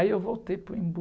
Aí eu voltei para o Embu,